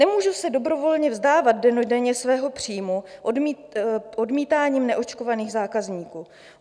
Nemůžu se dobrovolně vzdávat dennodenně svého příjmu odmítáním neočkovaných zákazníků.